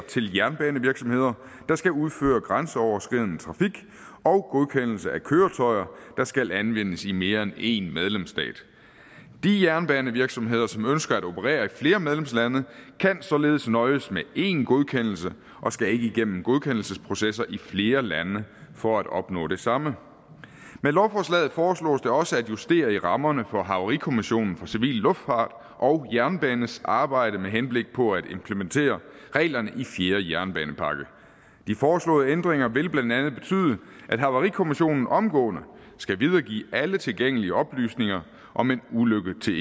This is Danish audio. til jernbanevirksomheder der skal udføre grænseoverskridende trafik og godkendelse af køretøjer der skal anvendes i mere end en medlemsstat de jernbanevirksomheder som ønsker at operere i flere medlemslande kan således nøjes med en godkendelse og skal ikke igennem godkendelsesprocesser i flere lande for at opnå det samme med lovforslaget foreslås det også at justere rammerne for havarikommissionen for civil luftfart og jernbanes arbejde med henblik på at implementere reglerne i fjerde jernbanepakke de foreslåede ændringer vil blandt andet betyde at havarikommissionen omgående skal videregive alle tilgængelige oplysninger om en ulykke til